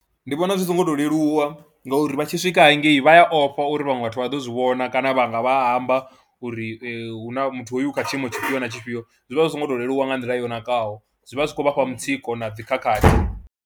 Ndi vhona zwi songo tou leluwa ngauri vha tshi swika hangei vha ya ofha uri vhaṅwe vhathu vha ḓo zwi vhona kana vha nga vha amba uri hu na muthu hoyu u kha tshiimo tshifhio na tshifhio, zwi vha zwi songo tou leluwa nga nḓila yo nakaho, zwi vha zwi khou vha fha mutsiko na dzi khakhathi.